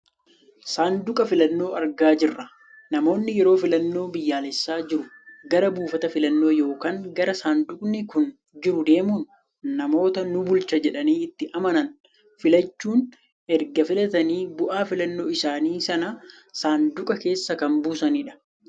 Saanduqa filannoo argaa jirra. Namoonni yeroo filannoon biyyaalessaa jiru gara buufata filannoo yookaan gara saanduqni kun jiru deemuun namoota nu bulcha jedhanii itti amanan filachuun erga filatanii bu'aa filannoo isaanii sana saanduqa keessa kan buusanidha.